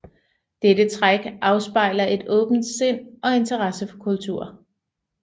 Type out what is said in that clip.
Dette træk afspejler et åbent sind og interesse for kultur